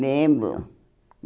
Lembro.